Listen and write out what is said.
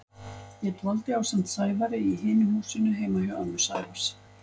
Ég dvaldi ásamt Sævari í hinu húsinu heima hjá ömmu Sævars.